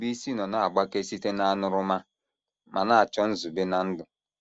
Ndubuisi nọ na - agbake site n’aṅụrụma ma na - achọ nzube ná ndụ.